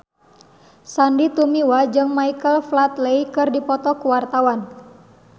Sandy Tumiwa jeung Michael Flatley keur dipoto ku wartawan